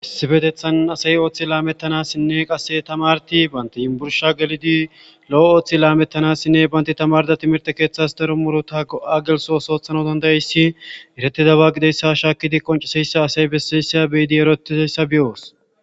Issibetethan asay ooththi laamettanassinne qasse tamarti baanti yinbursha gelidi lo7o ooththi laamettanasinne baynti tamarda timirte keeththas daro murota go7a gelso soothana dandayayssi eretidaba gideyssa shaakidi qonciseyssa asay bessissya beyidi eroetiseyssa beyoos.